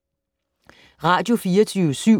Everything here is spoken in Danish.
Radio24syv